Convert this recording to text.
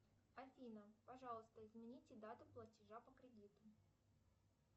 афина пожалуйста измените дату платежа по кредиту